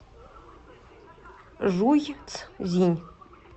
жуйцзинь